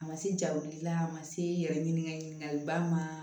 A ma se ja wuli la a ma se i yɛrɛ ɲini ka ɲininkaliba ma